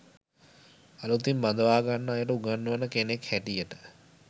අළුතින් බඳවාගන්න අයට උගන්වන කෙනෙක් හැටියට